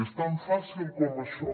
és tan fàcil com això